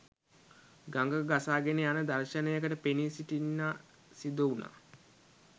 ගඟක ගසාගෙන යන දර්ශනයකට පෙනී සිටින්න සිදුවුණා